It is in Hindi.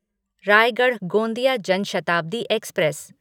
रायगढ़ गोंदिया जन शताब्दी एक्सप्रेस